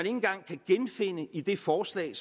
engang kan genfinde i det forslag